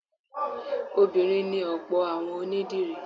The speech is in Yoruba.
Obìnrin ni ọ̀pọ̀ àwọn onídìrí